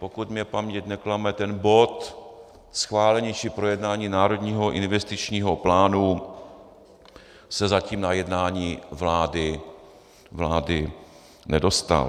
Pokud mě paměť neklame, ten bod schválení či projednání národního investičního plánu se zatím na jednání vlády nedostal.